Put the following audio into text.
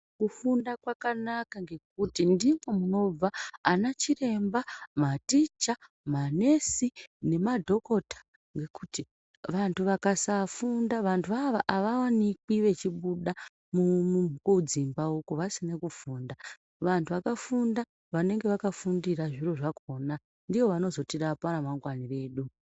Kufunda kwakanaka ngekuti ndiko kunobva ana chiremba, maticha ,manesi nemadhokota ngekuti vantu vakasafunda vantuvo ava avawanikwi vechibuda kudzimbako uku vasinakufunda vantu vakafunda vanenge vakafundira zviro zvakona ndivo vanozoti rapa ramangwanaredu.